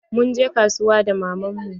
Mun je kasuwa da maman mu.